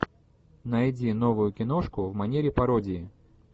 найди новую киношку в манере пародии